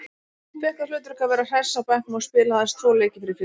Fékk það hlutverk að vera hress á bekknum og spilaði aðeins tvo leiki fyrir félagið.